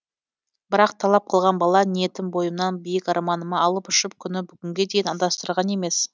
бірақ талап қылған бала ниетім бойымнан биік арманыма алып ұшып күні бүгінге дейін адастырған емес